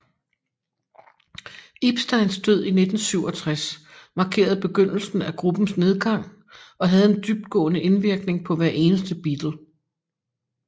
Epsteins død i 1967 markerede begyndelsen af gruppens nedgang og havde en dybtgående indvirkning på hver eneste Beatle